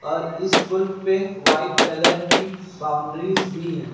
और इस पुल पे व्हाइट कलर की बाउंड्रीज भी है।